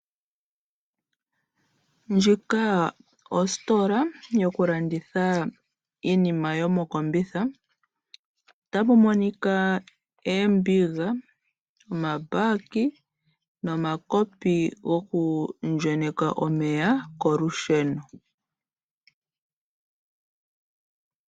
Ndjika ositola yoku landitha iinima yomokombitha. Otapu monika oombiga, omabaki nomakopi goku ndjenyeka omeya kolusheno